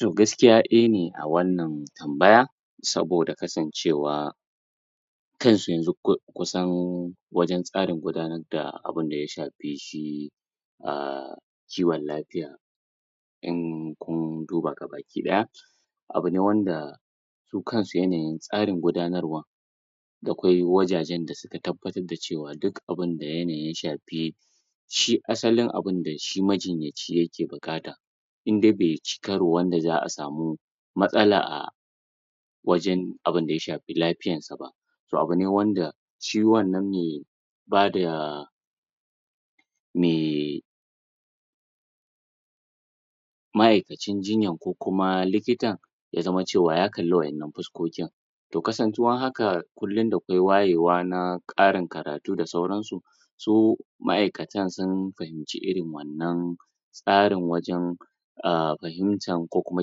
To gaskiya ɗaya ne a wannan tambaya saboda kasancewa kanshi yanzu kusan wajan tsarin gudanar da abin da ya shafi shi umm kiwon lafiya in kun duba gabaki ɗaya abune wanda su kansu yanayin tsarin gudanarwan dakwai wajajen da suka tabbatar da cewa duk abin da yanayi shafi shi asalin abinda shi majinyaci yake buƙata in dai beci karo wanda za'a samu matsala a wajen abinda ya shafi lafiyan sa ba to abune wanda shi wannan me bada me ma'aikacin jinyan ko kuma likitan ya zama cewa ya kalli waƴannan fuskokin to kasantuwar haka kullum dakwai wayewa na ƙarin karatu da sauran su, su ma'aikatan sun fahimci irin wannan tsarin wajan um fahimtan ko kuma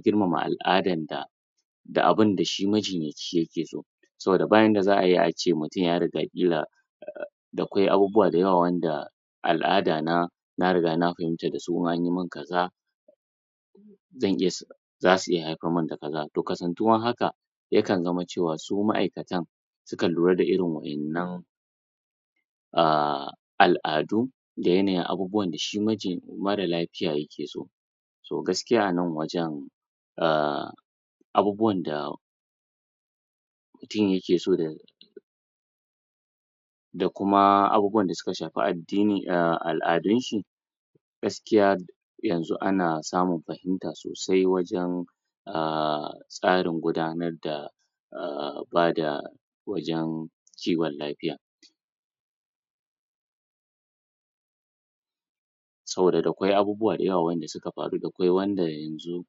girmama al'adan da da abinda shi majinyaci yake so saboda ba yanda za'ai ace mutum ya riga ƙila da kwai abubuwa da yawa wanda al'ada na na riga na fahimta dasu anyi min kaza zan iya zasu haifar mun da kaza to kasantuwar haka yakan zama cewa su ma'aikatan suka lura da irin wa’innan um al'adu da yanayin abubuwan da shi majin mara lafiya yake so to gaskiya a nan wajan um abubuwan da mutum yake so da da kuma abubuwan da suka shafi addini um al'adunshi gaskiya yanzu anan samun fahimta sosai wajan umm tsarin gudanar da bada wajan kiwon lafiya. Saboda dakwai abubuwa da yawa wanda suka faru dakwai wanda yanzu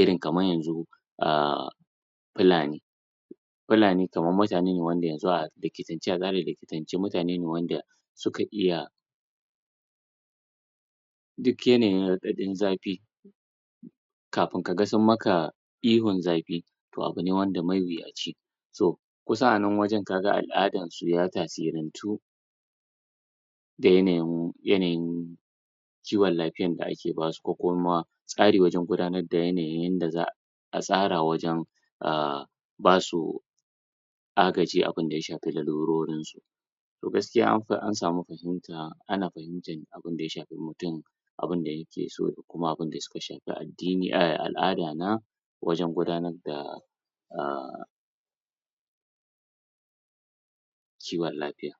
irin kamar yanzu umm pulani pulani kaman mutane ne wanda yanzu a likitance a tsarin likitance mutane ne wanda suka iya duk yanayin raɗaɗin zafi kafin kaga sun maka ihun zafi to abune wanda mawuyaci to kusan a nan wajan kaga al'adansu ya tasirantu da yanayin yanayin kiwon lafiyan da ake basu ko kuma tsari wajen gudanar da yanayi yanda za’a tsara wajan umm basu agaji abunda ya shafi larurorin su. To gaskiya an samu fahimta ana fahimtan abunda ya shafi mutum abun da yake so da kuma abun da suka shafi addini um al'ada na wajan gudanar da umm kiwon lafiya.